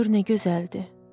Gör nə gözəldir!